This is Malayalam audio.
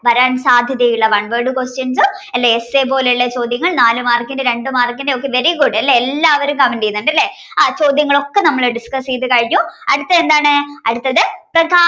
വരാൻ സാധ്യതയുള്ള one word questions അല്ലേ essay പോലുള്ള ചോദ്യങ്ങൾ നാലു mark ന്റെ രണ്ട് mark ന്റെ very good ലേ എല്ലാവരും comment ചെയ്യുന്നുണ്ടല്ലേ ആ ചോദ്യങ്ങെളൊക്കെ നമ്മൾ discuss ചെയ്തു കഴിഞ്ഞു അടുത്തത് എന്താണ് അടുത്തത് പ്രകാശം